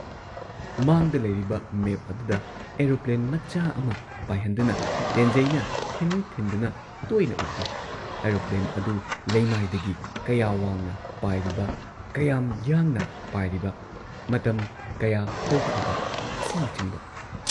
ꯃꯥꯡꯗ ꯂꯩꯔꯤꯕ ꯃꯦꯞ ꯑꯗꯨꯗ ꯑꯦꯔꯣꯄ꯭ꯂꯦꯟ ꯃꯆꯥ ꯑꯃ ꯄꯥꯏꯍꯟꯗꯨꯅ ꯇꯦꯟꯖꯩꯅ ꯊꯤꯟ ꯊꯤꯟꯗꯨꯅ ꯇꯣꯏꯅ ꯎꯠꯂꯤ ꯑꯦꯔꯣꯄ꯭ꯂꯦꯟ ꯑꯗꯨ ꯂꯩꯃꯥꯏꯗꯒꯤ ꯀꯌꯥ ꯋꯥꯡꯅ ꯄꯥꯏꯔꯤꯕ, ꯀꯌꯥꯝ ꯌꯥꯡꯅ ꯄꯥꯏꯔꯤꯕ, ꯃꯇꯝ ꯀꯌꯥ ꯍꯧꯈ꯭ꯔꯕ ꯑꯁꯤꯅꯆꯤꯡꯕ ꯫